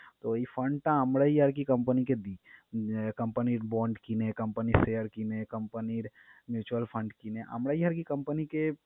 তো এই fund টা আমরাই আরকি company কে দিই। আহ company র bond কিনে, company share কিনে, company র mutual fund কিনে আমরাই আরকি company কে